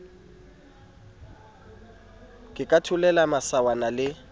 ke ka tholela masawana le